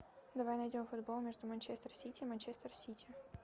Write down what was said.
давай найдем футбол между манчестер сити и манчестер сити